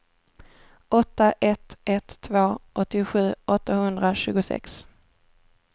åtta ett ett två åttiosju åttahundratjugosex